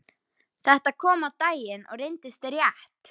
Þetta kom á daginn og reyndist rétt.